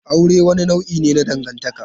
Aure wani nau'i ne na dangantaka.